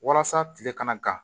Walasa tile kana gan